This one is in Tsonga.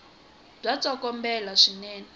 bya tsokombela swinene